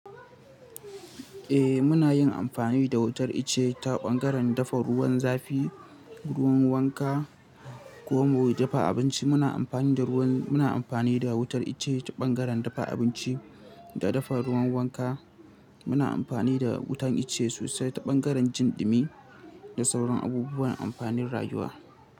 Eh muna yin amfani da wutar ice ta ɓangaren dafa ruwan zafi, ruwan wanka ko kuma mu yi dafa abinci. Muna amfani da wutar ice ta ɓangaren dafa abinci da dafa ruwan wanka. Muna amfani da wutan ice sosai ta ɓangaren jin ɗumi da sauran abubuwan amfanin rayuwa.